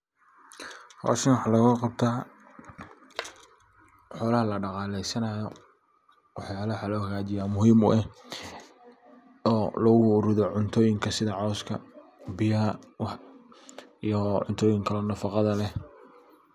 Howshan waxa loga qabta xolaha lada qaleysanayo wax yalaha waxa loo xagajiya muhim u ah oo lagu ridho cuntoyinka sidha cawska, biyaha iyo cuntoyinka kale ee nafaqadha leh.